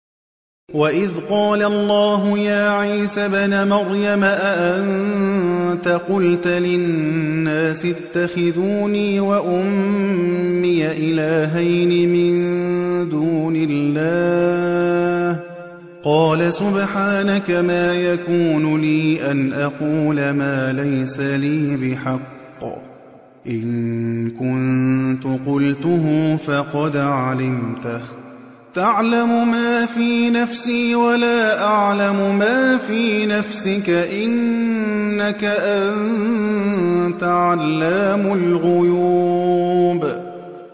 وَإِذْ قَالَ اللَّهُ يَا عِيسَى ابْنَ مَرْيَمَ أَأَنتَ قُلْتَ لِلنَّاسِ اتَّخِذُونِي وَأُمِّيَ إِلَٰهَيْنِ مِن دُونِ اللَّهِ ۖ قَالَ سُبْحَانَكَ مَا يَكُونُ لِي أَنْ أَقُولَ مَا لَيْسَ لِي بِحَقٍّ ۚ إِن كُنتُ قُلْتُهُ فَقَدْ عَلِمْتَهُ ۚ تَعْلَمُ مَا فِي نَفْسِي وَلَا أَعْلَمُ مَا فِي نَفْسِكَ ۚ إِنَّكَ أَنتَ عَلَّامُ الْغُيُوبِ